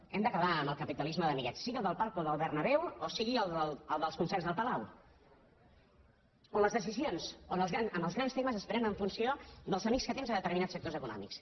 hem d’acabar amb el capitalisme d’amiguets sigui el del palco del bernabéuconcerts del palau on les decisions en els grans temes es prenen en funció dels amics que tens a determinats sectors econòmics